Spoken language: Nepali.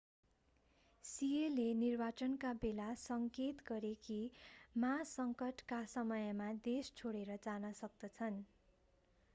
सिएले निर्वाचनका बेला सङ्केत गरे कि मा सङ्कटका समयमा देश छोडेर जान सक्दछन्